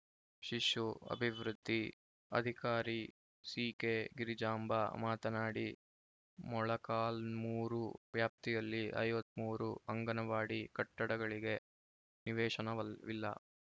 ಶಿಶು ಅಭಿವೃದ್ಧಿ ಅಧಿಕಾರಿ ಸಿಕೆಗಿರಿಜಾಂಬಾ ಮಾತನಾಡಿ ಮೊಳಕಾಲ್ಮೂರು ವ್ಯಾಪ್ತಿಯಲ್ಲಿ ಐವತ್ತ್ ಮೂರು ಅಂಗನವಾಡಿ ಕಟ್ಟಡಗಳಿಗೆ ನಿವೇಶನವಿಲ್ಲ